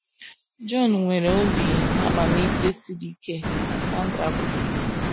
“ John nwere obi amamikpe siri ike, ” ka Sandra kwuru